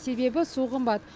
себебі су қымбат